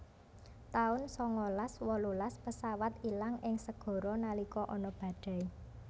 taun sangalas wolulas pesawat ilang ing segara nalika ana badai